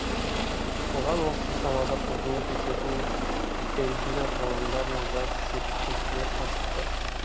оған осы салада қызмет ететін белгілі ғылымдар мен жас зерттеушілер қатысты